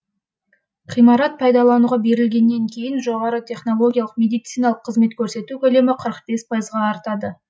ғимарат пайдалануға берілгеннен кейін жоғары технологиялық медициналық қызмет көрсету көлемі пайызға артады